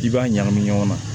I b'a ɲagami ɲɔgɔn na